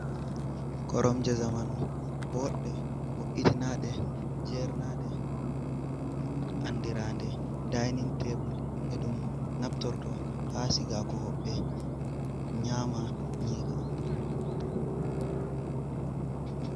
Koromje zamanu boɗɗe, bo’itina ɗe, jernaɗe, andirande dainin tebul, e ɗum naftorto ha sigago hoɓɓe nyama nyiri.